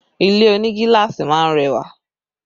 Ilé oní gíláàsì máa ń rẹwà